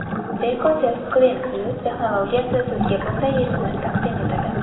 Beko SelfClean+ texnologiyasi sizga bunday yechimni taqdim etadi.